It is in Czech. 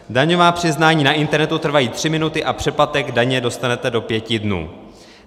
Daňová přiznání na internetu trvají tři minuty a přeplatek daně dostanete do pěti dnů."